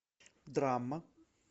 драма